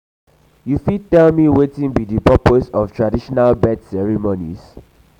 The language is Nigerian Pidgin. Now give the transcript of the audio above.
you fit tell me wetin be di purpose of traditional birth ceremonies?